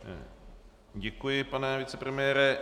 Děkuji, pane vicepremiére.